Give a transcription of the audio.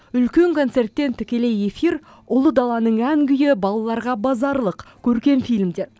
үлкен концерттен тікелей эфир ұлы даланың ән күйі балаларға базарлық көркем фильмдер